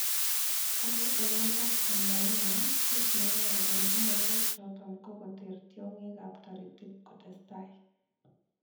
Kole emet ab Tanzania kiit neyoe kobel ingogaik choton ko koteer tiongeek ab toritiik kotestan.